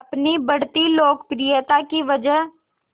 अपनी बढ़ती लोकप्रियता की वजह